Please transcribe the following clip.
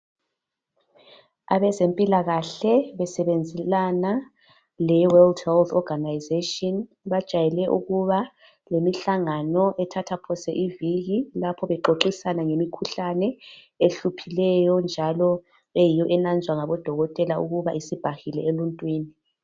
abezempilakahle besebenzelana le WHO organization bajwayele ukuba lemihlangano ethatha phose iviki lapho bexoxisana ngemikhuhlane ehuphileyo njalo eyiyo enazwa ngabodokotela ukuba isibambile emuntwini